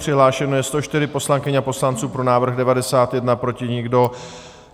Přihlášeno je 104 poslankyň a poslanců, pro návrh 91, proti nikdo.